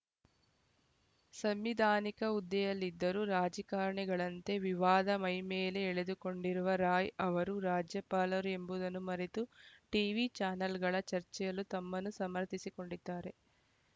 ಸಂವಿಧಾನಿಕ ಹುದ್ದೆಯಲ್ಲಿದ್ದರೂ ರಾಜಕಾರಣಿಗಳಂತೆ ವಿವಾದ ಮೈಮೇಲೆ ಎಳೆದುಕೊಂಡಿರುವ ರಾಯ್‌ ಅವರು ರಾಜ್ಯಪಾಲರು ಎಂಬುದನ್ನು ಮರೆತು ಟೀವಿ ಚಾನೆಲ್‌ಗಳ ಚರ್ಚೆಯಲ್ಲೂ ತಮ್ಮನ್ನು ಸಮರ್ಥಿಸಿಕೊಂಡಿದ್ದಾರೆ